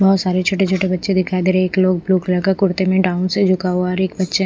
बहोत सारे छोटे छोटे बच्चे दिखाई दे रहे एक लोग ब्ल्यू कलर का कुर्ते में डाउन से झुका हुआ और एक बच्चा--